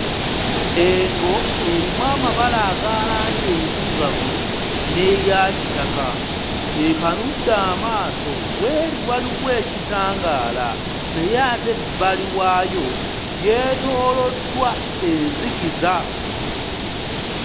Engo erimu amabala aga langi enzirugavu n'eya kitaka ekanudde amaaso w'eri waliwo ekitangaala naye ate ebbali waayo yeetooloddwa enzikiza.